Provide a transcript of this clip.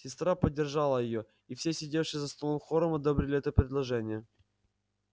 сестра поддержала её и все сидевшие за столом хором одобрили это предложение